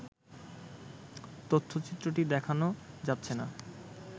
তথ্যচিত্রটি দেখানো যাচ্ছে না